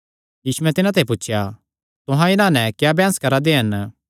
यीशुयैं तिन्हां ते पुछया तुहां इन्हां नैं क्या बैंह्स करा दे हन